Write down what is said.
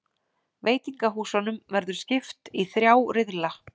Veitingahúsunum verður skipt í þrjá riðla